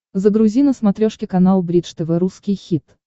загрузи на смотрешке канал бридж тв русский хит